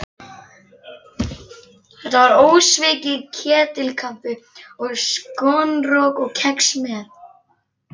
Þetta var ósvikið ketilkaffi og skonrok og kex með.